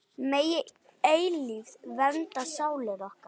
Megi eilífð vernda sálir ykkar.